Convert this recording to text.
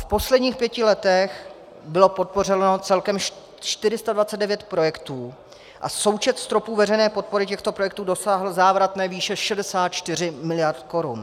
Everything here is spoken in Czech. V posledních pěti letech bylo podpořeno celkem 429 projektů a součet stropů veřejné podpory těchto projektů dosáhl závratné výše 64 miliard korun.